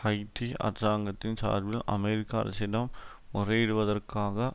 Haiti அரசாங்கத்தின் சார்பில் அமெரிக்க அரசிடம் முறையிடுவடதற்காக